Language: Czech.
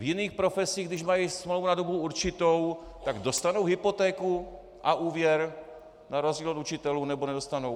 V jiných profesích, když mají smlouvu na dobu určitou, tak dostanou hypotéku a úvěr na rozdíl od učitelů, nebo nedostanou?